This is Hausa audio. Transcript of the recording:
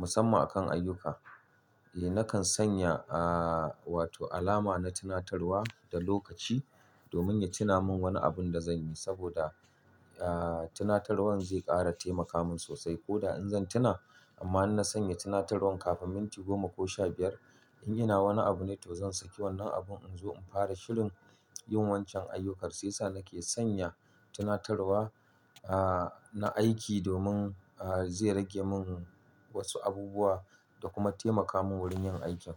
Musamman a kan ayyuka, eh nakan sanya, ah, wato alama na tunatarwa da lokaci domin ya tuna min wani abun da zan yi saboda, ah, tunatarwan zai ƙara taimaka min sosai. Ko da in zan tuna amma in na sanya tunatarwan kafin minti goma ko sha biyar, in ina wani abu ne to zan saki wannan abun in zo in fara shirin yin wancan ayyukan. Sai sa nake sanya tunatarwa, ah, na aiki domin, ah, zai rage mun wasu abubuwa da kuma taimaka min wurin yin aikin.